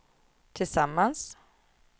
tillsammans